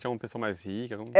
Tinha uma pessoa mais rica? Como